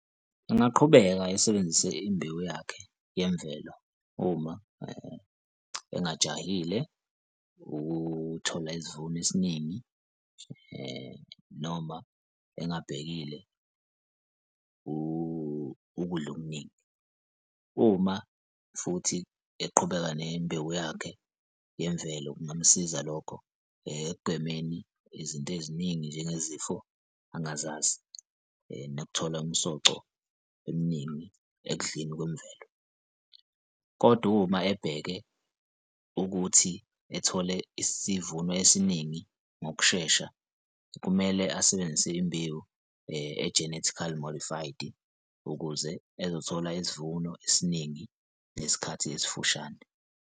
Engaqhubeka esebenzise imbewu yakhe yemvelo uma engajahile ukuthola isivuno esiningi noma engabhekile ukudla okuningi. Uma futhi eqhubeka nembewu yakhe yemvelo kungamsiza lokho ekugwemeni izinto eziningi, njengezifo, angazazi nokuthola umsoco eminingi ekudleni kwemvelo. Kodwa uma ebheke ukuthi ethole isivuno esiningi ngokushesha kumele asebenzise imbewu e-genetically modified ukuze ezothola isivuno esiningi ngesikhathi esifushane.